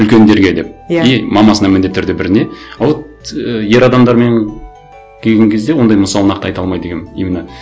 үлкендерге деп иә и мамасына міндетті түрде бір не а вот ы ер адамдармен келген кезде ондай мысал нақты айта алмайды екенмін именно